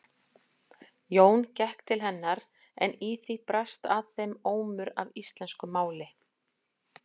Jón gekk til hennar en í því barst að þeim ómur af íslensku máli.